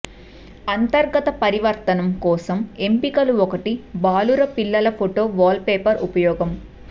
అంతర్గత పరివర్తనం కోసం ఎంపికలు ఒకటి బాలుర పిల్లల ఫోటో వాల్పేపర్ ఉపయోగం